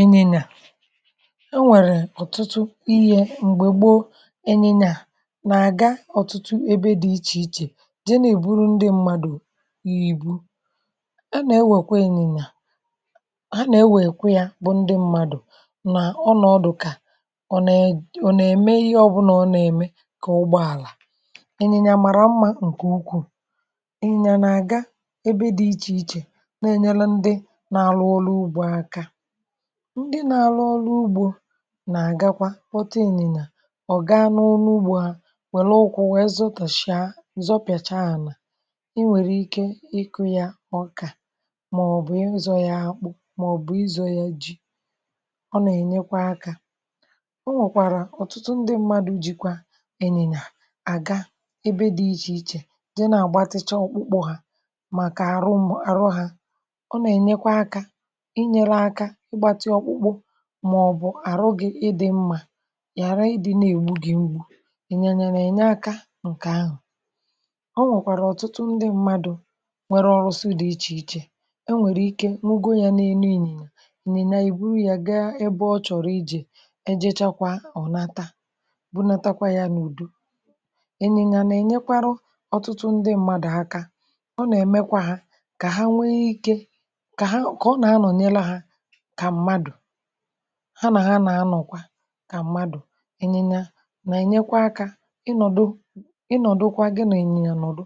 Ịnyịnya enwẹ̀rẹ̀ ọ̀tụtụ ihė m̀gbè gboo ịnyịnya nà-àga ọ̀tụtụ ebe dị̇ ichè ichè je nà-eburu ndị mmadụ̀ ìbu a nà-ewèkwe ịnyịnya ha nà-ewèkwe yȧ bụ ndị mmadụ̀ nà ọnọ̀dụ̀ kà ọ nà ẹ̀ ọ nà-eme ihe ọbụnȧ ọ nà-eme kà ụgbọàlà ịnyịnya màrà mmȧ ǹkè ukwù ịnyịnya na-àga ebe dị̇ ichè ichè na-ẹnyẹlụ ndị na-arụ ọlụ ụgbọ aka ndị na-alụ ọlụ ugbo nà-àgakwa kpọta ịnyịnya ọ̀ gaa n’ọlụ ugbȯ ha wèrè ụkwụ̇ nwèe zọtàshịa zọpị̀àchaa ànà ị nwèrè ike ịkụ̇ ya ọkà màọbụ̀ ịzọ̇ ya akpụ̇ màọbụ̀ izọ̇ ya ji ọ nà-ènyekwa akȧ o nwèkwàrà ọ̀tụtụ ndị mmadụ̇ jikwa ịnyịnya àga ebe dị ichè ichè je na-àgbatịcha ọkpụkpụ ha màkà àrụm arụ hȧ ọ nà-ènyekwa akȧ ịnyere aka ịgbatị ọkpụkpụ màọbụ̀ àrụ gị̇ ịdị̇ mmȧ ghàra ịdị̇ na-ègbu gị mgbu ịnyịnya na-ènye akȧ ǹkè ahụ̀ ọ nwèkwàrà ọ̀tụtụ ndị mmadụ̀ nwere ọrụsị dị̀ ichè ichè enwèrè ike nwugò ya n’elu ịnyịnya ịnyịnya eburu ya gaa ebe ọ chọ̀rọ̀ ije ejechakwa ọ̀nata bunatakwa ya n’ùdo ịnyịnya na-ènyekwarụ ọ̀tụtụ ndị mmadụ̀ aka ọ nà-èmekwa ha kà ha nwee ike kà ha kà ọ nà anọ̀nyelụ ha kà mmadụ̀ ha nà ha nà-anọ̀kwa kà mmadụ̀ ẹ ịnyịnyà nà ẹnyẹkwa akȧ ịnọ̀dụ ịnọ̀dụkwa gị nà ịnyịnyà nọ̀dụ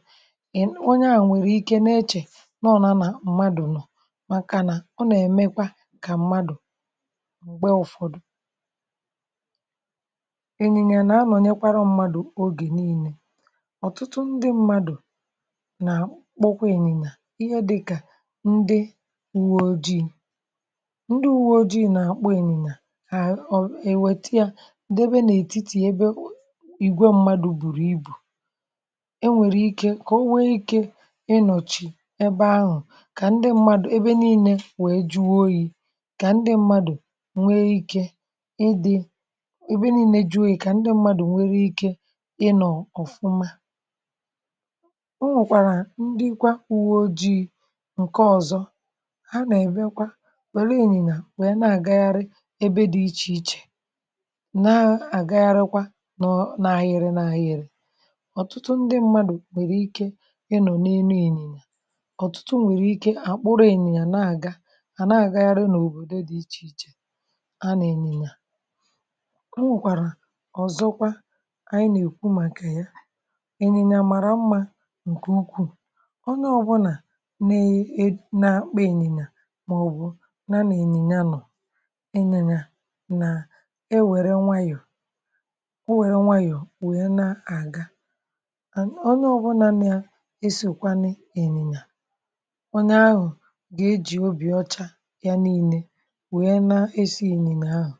ị onya nwèrè ike na-echè nọọna nà mmadụ̀ nọ̀ màkà nà ọ nà ẹ̀mẹkwa kà mmadụ̀ m̀gbè ụfọdụ pause ịnyịnyà nà-anọ̀nyẹkwara mmadụ̀ ogè niilė ọ̀tụtụ ndị mmadụ̀ nà kpọkwa ịnyịnyà ihe dịkà ndị uwe ojii ndị uwe ojii na-akpọ ịnyịnya àhà ò èwète yȧ debe n’ètitì ya ebe ìgwè mmadù bùrù ibù e nwèrè ike kà o nwee ike ịnọ̀chì ebe ahụ̀ kà ndị mmadụ̀ ebe nii̇nė wee jụọ oyi̇ kà ndị mmadụ̀ nwee ike ịdị̇ ebe nii̇nė jụọ oyi̇ kà ndị mmadụ̀ nwere ike ịnọ̀ ọ̀fụma o nwèkwàrà ndị kwa uwe ojii̇ ǹke ọ̀zọ ha nà èbekwa were ịnyịnya wee na-àgagharị ebe dị iche ichè na-agagharịkwa n’ọ n’ahịrị n’ahịrị ọ̀tụtụ ndị mmadụ̀ nwèrè ike ịnọ n’enu ịnyịnya ọ̀tụtụ nwèrè ike àkpụrụ̇ ịnyịnyà hà na-àgagharị n’òbòdo dị̇ ichè ichè hà na ịnyịnyè à o nwèkwàrà ọ̀zọkwa anyị nà-èkwu màkà ya ịnyìnyà màrà mmȧ ǹkè ukwuù onye ọbụlà na e nȧ-akpa ịnyịnya màọbụ̀ na nà-ịnyịnya nọ̀ e nwere nwayọ̀ o nwere nwayọ̀ wee na-aga. onye ọbụna na-esokwanị ịnyịnya ahụ̀ onye ahụ̀ ga-ejì obì ọcha ya niile wee na-esi ịnyịnya ahụ̀